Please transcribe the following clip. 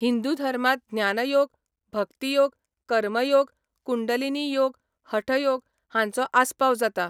हिंदू धर्मांत ज्ञानयोग, भक्तियोग, कर्मयोग, कुंडलिनीयोग, हठयोग हांचो आस्पाव जाता.